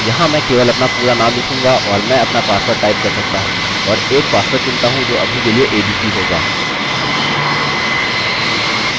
अतः यहाँ मैं केवल अपना पूरा नाम लिखूँगा और मैं अपना पासवर्ड टाइप कर सकता हूँ और एक पासवर्ड चुनता हूँ जो अभी के लिए abc होगा